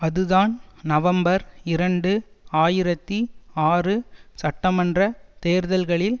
அதுதான் நவம்பர் இரண்டு ஆயிரத்தி ஆறு சட்ட மன்ற தேர்தல்களில்